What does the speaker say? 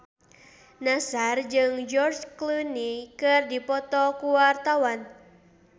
Nassar jeung George Clooney keur dipoto ku wartawan